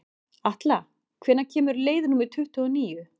Atla, hvenær kemur leið númer tuttugu og níu?